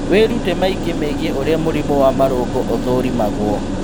Wĩrute maingĩ megiĩ ũrĩa mũrimũ wa marũngo ũthũrimagwo